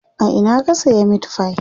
a Ina ka saya meatfie?